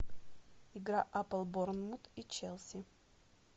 игра апл борнмут и челси